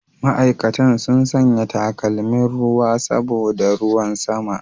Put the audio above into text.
Ma'aikatan sun sanya takalmin ruwan saboda ruwan sama.